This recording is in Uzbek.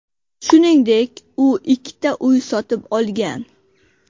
Shuningdek, u ikkita uy sotib olgan.